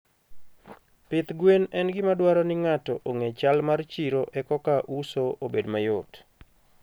Pith gwen en gima dwaro ni ng'ato ong'e chal mar chiro ekoka uso obed mayot.